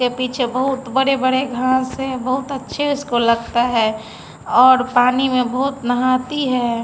के पीछे बहोत बड़े-बड़े घास है बहुत अच्छे उसको लगता है और पानी में बहुत नहाती है।